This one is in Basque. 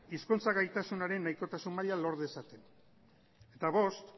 hizkuntza gaitasunaren nahikotasun maila lor dezaten eta bost